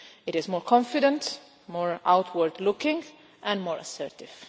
It is more confident, more outward looking and more assertive.